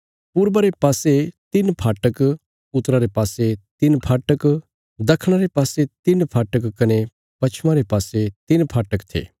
पूर्वा रे पासे तिन्न फाटक उत्तरा रे पासे तिन्न फाटक दखणा रे पासे तिन्न फाटक कने पश्चमा रे पासे तिन्न फाटक थे